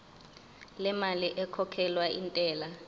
lemali ekhokhelwa intela